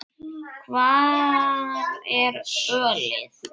Hvar er ölið?